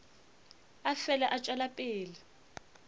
a fele a tšwela pele